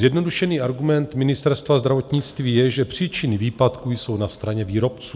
Zjednodušený argument Ministerstva zdravotnictví je, že příčiny výpadku jsou na straně výrobců.